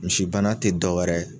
Misibana te dɔ wɛrɛ